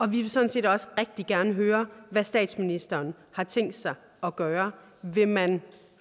vi vil sådan set også rigtig gerne høre hvad statsministeren har tænkt sig at gøre vil man